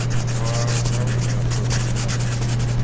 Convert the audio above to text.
управление отбой уже не надо